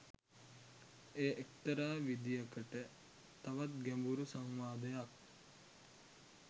එය එක්තරා විදියකට තවත් ගැඹුරු සංවාදයක්